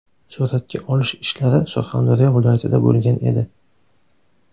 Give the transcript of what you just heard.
Suratga olish ishlari Surxondaryo viloyatida bo‘lgan edi.